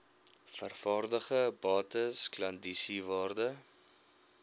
vervaardigde bates klandisiewaarde